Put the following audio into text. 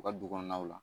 U ka du kɔnɔnaw la